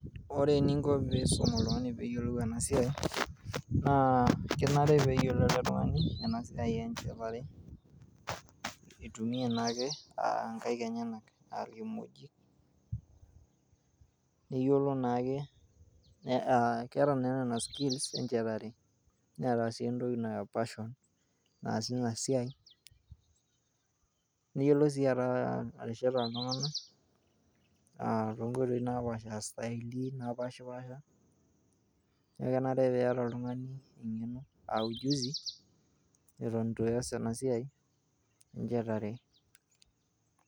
Ore eninko piisum oltung'ani peeyolou ena siai naa kenare pee eyolou oltung'ani ena siai e njetare, itumia naake aa nkaek enyenak aa irkikmojik. Neyolo naa ake ee keeta naa nena skills e ejetare neeta sii entoki naa passion naasie ina siai, neyolo sii atesheta iltung'anak, aa to nkoitoi napaasha aa staili napaashipaasha. Neeku enare piita oltung'ani eng'eno a ujuzi eton itu ias ena siai e njetare.